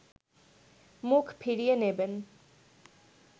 মুখ ফিরিয়ে নেবেন